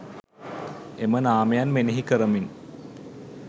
එම නාමයන් මෙනෙහි කරමින්